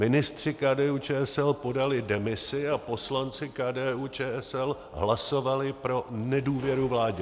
Ministři KDU-ČSL podali demisi a poslanci KDU-ČSL hlasovali pro nedůvěru vládě.